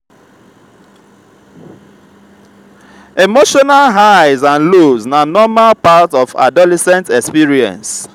emotional highs and lows na normal part of adolescent experience.